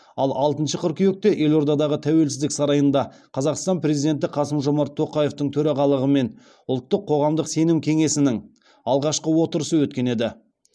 ал алтыншы қыркүйекте елордадағы тәуелсіздік сарайында қазақстан президенті қасым жомарт тоқаевтың төрағалығымен ұлттық қоғамдық сенім кеңесінің алғашқы отырысы өткен еді